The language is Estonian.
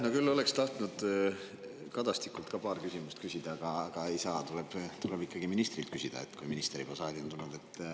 No küll oleks tahtnud Kadastikult ka paar küsimust küsida, aga ei saa, tuleb ikkagi ministrilt küsida, kui minister juba saali on tulnud.